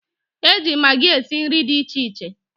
e ji magị esi nri dị iche iche.